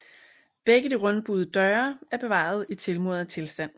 Begge de rundbuede døre er bevaret i tilmuret tilstand